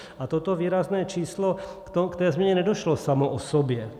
A toto výrazné číslo, k té změně nedošlo samo o sobě.